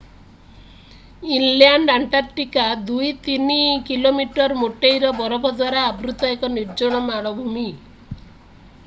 inland Antarctica 2-3 km ମୋଟେଇର ବରଫ ଦ୍ୱାରା ଆବୃତ ଏକ ନିର୍ଜନ ମାଳଭୂମି